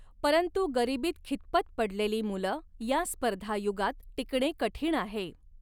परंतु गरिबीत खितपत पडलेली मुल या स्पर्धा युगात टिकणे कठीण आहे.